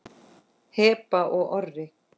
Heba og Orri.